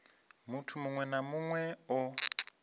muthu muṅwe na muṅwe o